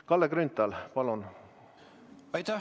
Kalle Grünthal, palun!